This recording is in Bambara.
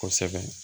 Kosɛbɛ